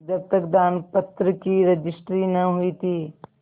जब तक दानपत्र की रजिस्ट्री न हुई थी